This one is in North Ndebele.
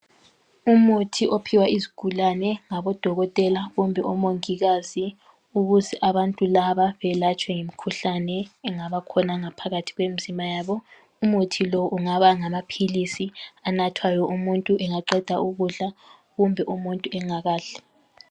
Umuthi ophiwa izigulane ngabo dokotela kumbe omongikazi ukuze abantu laba belatshwe imikhuhlane engaba khona ngaphakathi kwemzimba yabo .Umuthi lo ungaba ngamaphilisi anathwayo umuntu engaqeda ukudla kumbe umuntu engakadli.